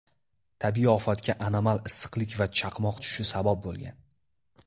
Tabiiy ofatga anomal issiqlik va chaqmoq tushishi sabab bo‘lgan.